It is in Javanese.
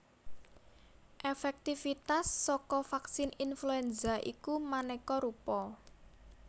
Èfèktivitas saka vaksin influenza iku manéka rupa